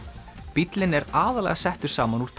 bíllinn er aðallega settur saman úr